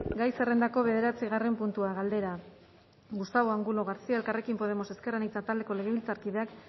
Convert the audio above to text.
gai zerrendako bederatzigarren puntua galdera gustavo angulo garcía elkarrekin podemos ezker anitza taldeko legebiltzarkideak